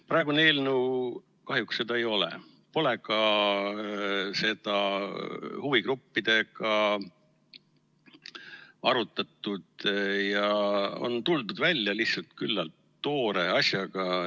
Praegune eelnõu kahjuks seda ei ole, seda pole ka huvigruppidega arutatud ja on tuldud välja lihtsalt üsna toore asjaga.